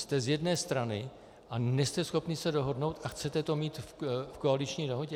Jste z jedné strany a nejste schopni se dohodnout a chcete to mít v koaliční dohodě?